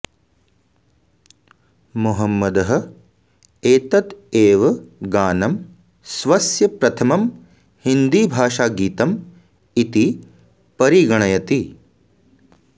मोहम्मदः एतत् एव गानं स्वस्य प्रथमं हिन्दीभाषागीतम् इति परिगणयति